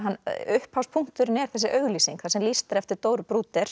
upphafspunkturinn er þessi auglýsing þar sem lýst er eftir Dóru